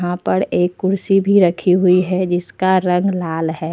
यहां पर एक कुर्सी भी रखी हुई है जिसका रंग लाल है।